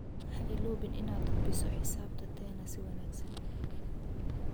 Ha iloobin inaad hubiso xisaabta tena si wanagsan.